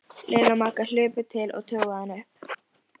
Lilla og Magga hlupu til og toguðu hana upp.